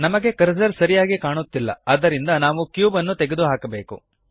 ನಮಗೆ ಕರ್ಸರ್ ಸರಿಯಾಗಿ ಕಾಣುತ್ತಿಲ್ಲ ಆದ್ದರಿಂದ ನಾವು ಕ್ಯೂಬ್ ನ್ನು ತೆಗೆದುಹಾಕಬೇಕು